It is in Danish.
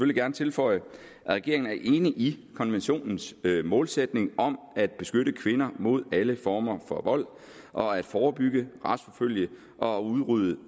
gerne tilføje at regeringen er enig i konventionens målsætning om at beskytte kvinder mod alle former for vold og at forebygge retsforfølge og udrydde